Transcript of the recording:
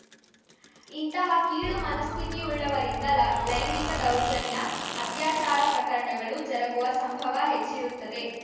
ಇಂತಹ ಕೀಳು ಮನಸ್ಥಿತಿವುಳ್ಳವರಿಂದ ಲ ಲೈಂಗಿಕ ದೌರ್ಜನ್ಯ ಅತ್ಯಾಚಾರ ಪ್ರಕರಣಗಳು ಜರುಗುವ ಸಂಭವ ಹೆಚ್ಚಿರುತ್ತದೆ